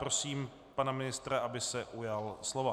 Prosím pana ministra, aby se ujal slova.